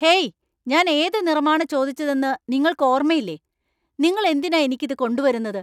Hey, ഞാൻ ഏത് നിറമാണ് ചോദിച്ചതെന്ന് നിങ്ങള്‍ക്ക് ഓർമ്മയില്ലേ? നിങ്ങള്‍ എന്തിനാ എനിക്ക് ഇത് കൊണ്ടുവരുന്നത്?